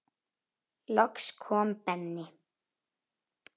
Loks kom Benni.